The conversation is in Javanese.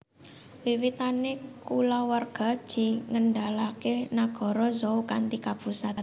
Wiwitané kulawarga Ji ngendhalèkaké nagara Zhou kanthi kapusat